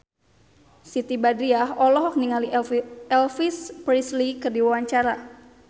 Siti Badriah olohok ningali Elvis Presley keur diwawancara